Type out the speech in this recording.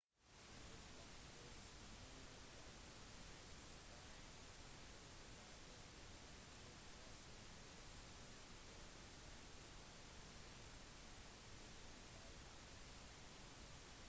det bygges nå 5 nye skyskrapere på plassen med et senter for transport og en minnepark i midten